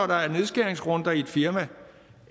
der er nedskæringsrunder i et firma